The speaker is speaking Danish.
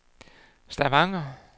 Stavanger